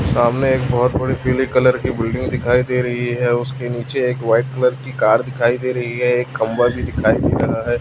सामने एक बहोत बड़ी पीले कलर की बिल्डिंग दिखाई दे रही है उसके नीचे एक वाइट कलर की कार दिखाई दे रही है एक खंभा भी दिखाई दे रहा है।